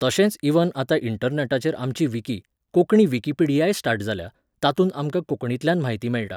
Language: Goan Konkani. तशेंच इव्हन आतां इण्टरनॅटाचेर आमची विकी, कोंकणी विकिपीडियाय स्टार्ट जाल्या, तातूंत आमकां कोंकणींतल्यान म्हायती मेळटा.